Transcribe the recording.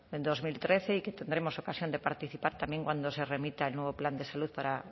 dos mil trece y que tendremos ocasión de participar también cuando se remita el nuevo plan de salud para